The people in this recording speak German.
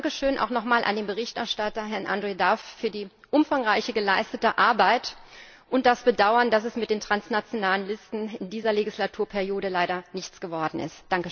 Dankeschön auch nochmals an den Berichterstatter, Herrn Andrew Duff, für die umfangreiche geleistete Arbeit und das Bedauern, dass es mit den transnationalen Listen in dieser Legislaturperiode leider nichts geworden ist.